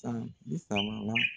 San bisaba la